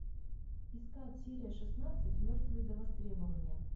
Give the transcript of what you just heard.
искать серия шестнадцать мертвые до востребования